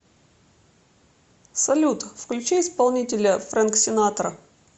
салют включи исполнителя фрэнк синатра